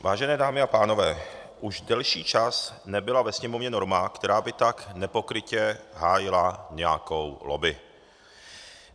Vážené dámy a pánové, už delší čas nebyla ve Sněmovně norma, která by tak nepokrytě hájila nějakou lobby.